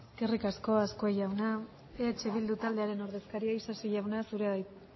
eskerrik asko azkue jauna eh bildu taldearen ordezkaria isasi jauna zurea da hitza